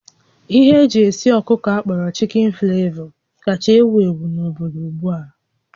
Ihe eji esi ọkụkọ akpọrọ Chicken flavor kacha ewu ewu n'obodo ugbu a